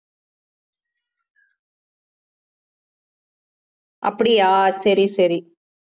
அப்படியா சரி சரி